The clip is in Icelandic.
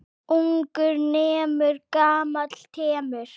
Ungur nemur, gamall temur.